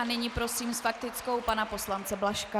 A nyní prosím s faktickou pana poslance Blažka.